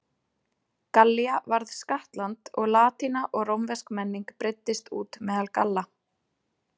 Gallía varð skattland og latína og rómversk menning breiddist út meðal Galla.